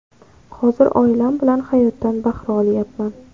Hozir oilam bilan hayotdan bahra olyapman.